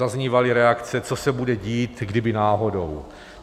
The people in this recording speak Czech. Zaznívaly reakce, co se bude dít, kdyby náhodou.